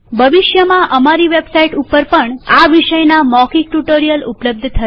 ભવિષ્યમાં અમારી website ઉપર પણ આ વિષયના મૌખિક ટ્યુ્ટોરીઅલ ઉપલબ્ધ થશે